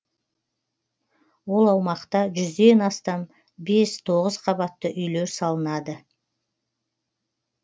ол аумақта жүзден астам бес тоғыз қабатты үйлер салынады